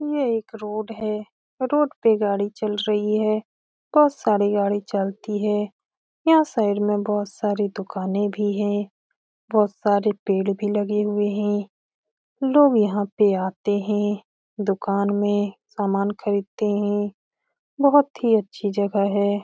ये एक रोड है रोड पे गाड़ी चल रही है बहुत सारी गाडी चलती है यहाँ साइड में बहुत सारी दुकाने भी है बहुत सारे पेड़ भी लगे हुए है लोग यहाँ पे आते है दुकान में सामान खरीदते है बहुत ही अच्छी जगह हैं।